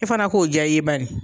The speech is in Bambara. E fana k'o ja i ye bani.